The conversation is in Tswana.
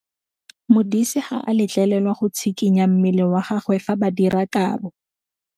Modise ga a letlelelwa go tshikinya mmele wa gagwe fa ba dira karô.